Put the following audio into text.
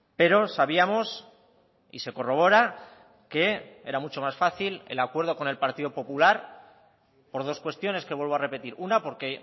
pero sabíamos y se corrobora que era mucho más fácil el acuerdo con el partido popular por dos cuestiones que vuelvo a repetir una porque